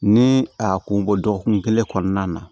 Ni a kun bɔ dɔgɔkun kelen kɔnɔna na